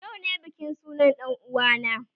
Yau ne bikin sunan dan uwa na